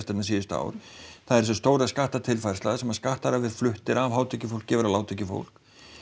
hérna síðustu ár það er þessi stóra skattatilfærsla þar sem að skattar hafa verið fluttir af hátekjufólki og yfir á lágtekjufólk